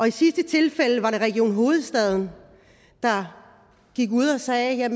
i sidste tilfælde var det region hovedstaden der gik ud og sagde at